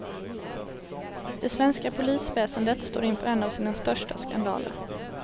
Det svenska polisväsendet står inför en av sina största skandaler.